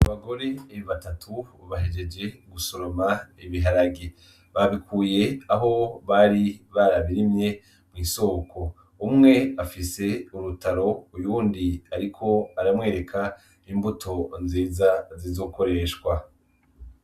Abagore batatu bajeje gusoroma ibiharage babikuye aho bari barabirimwe mw'isoko umwe afise urutaro uyuwundi ariko aramwereka imbuto nziza zizokoreshwa